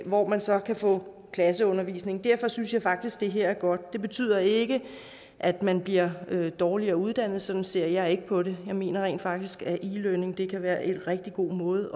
hvor man så kan få klasseundervisning derfor synes jeg faktisk det her er godt det betyder ikke at man bliver dårligere uddannet sådan ser jeg ikke på det jeg mener rent faktisk at e learning kan være en rigtig god måde